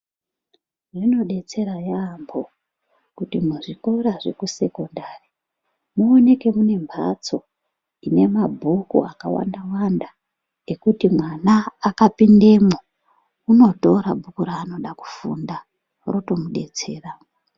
Zvinodetsera yamho kuti muzvikora zvekusekondari muoneke mune mhatso ine mabhuku akawanda wanda ekuti mwana akapindemwo unotora bhuku raanoda kufunda roto mudetsera.